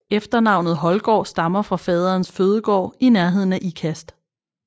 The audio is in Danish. Efternavnet Holdgaard stammer fra faderens fødegård i nærheden af Ikast